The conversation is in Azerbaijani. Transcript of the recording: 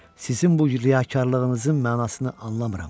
Sizin bu riyakarlığınızın mənasını anlamıram.